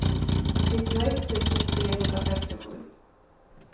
nittioett tusen trehundrafemtiosju